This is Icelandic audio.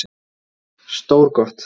Stór got